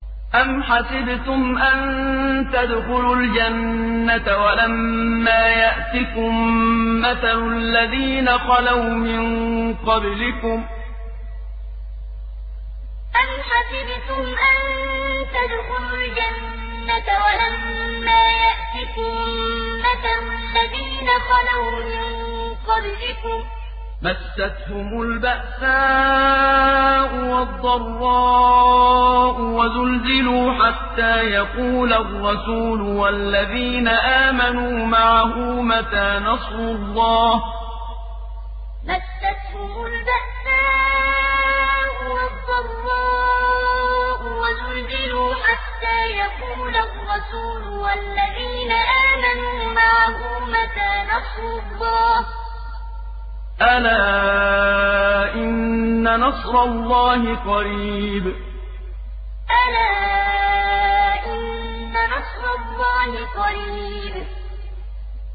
أَمْ حَسِبْتُمْ أَن تَدْخُلُوا الْجَنَّةَ وَلَمَّا يَأْتِكُم مَّثَلُ الَّذِينَ خَلَوْا مِن قَبْلِكُم ۖ مَّسَّتْهُمُ الْبَأْسَاءُ وَالضَّرَّاءُ وَزُلْزِلُوا حَتَّىٰ يَقُولَ الرَّسُولُ وَالَّذِينَ آمَنُوا مَعَهُ مَتَىٰ نَصْرُ اللَّهِ ۗ أَلَا إِنَّ نَصْرَ اللَّهِ قَرِيبٌ أَمْ حَسِبْتُمْ أَن تَدْخُلُوا الْجَنَّةَ وَلَمَّا يَأْتِكُم مَّثَلُ الَّذِينَ خَلَوْا مِن قَبْلِكُم ۖ مَّسَّتْهُمُ الْبَأْسَاءُ وَالضَّرَّاءُ وَزُلْزِلُوا حَتَّىٰ يَقُولَ الرَّسُولُ وَالَّذِينَ آمَنُوا مَعَهُ مَتَىٰ نَصْرُ اللَّهِ ۗ أَلَا إِنَّ نَصْرَ اللَّهِ قَرِيبٌ